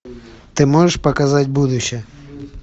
ты можешь показать будущее